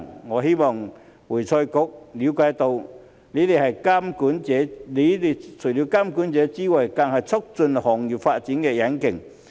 我希望會財局了解到，你們除了是監管者之外，更是促進行業發展的引擎。